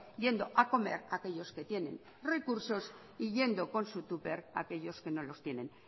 yendo a comer aquellos que tienen recursos y yendo con su tupper aquellos que no los tienen